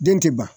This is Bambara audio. Den tɛ ban